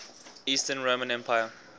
eastern roman empire